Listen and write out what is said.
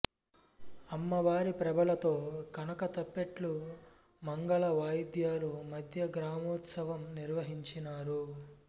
అమ్మవారి ప్రభలతో కనకతప్పెట్లు మంగళ వాయిద్యాల మధ్య గ్రామోత్సవం నిర్వహించినారు